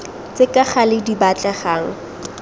tse ka gale di batlegang